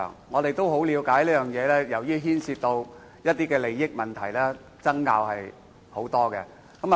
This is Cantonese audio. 我也了解到，由於此課題牽涉一些利益問題，爭拗甚多。